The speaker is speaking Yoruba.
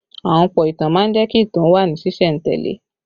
Ahunpọ̀ ìtàn má ń jẹ́ kí ìtàn ó wà ní sìsẹ̀ntele